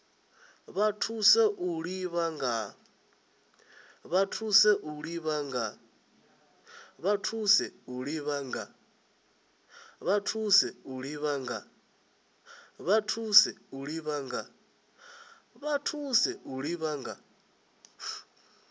vha thusa u ḓivha nga